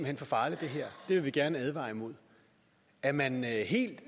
hen for farligt det vil vi gerne advare imod er man helt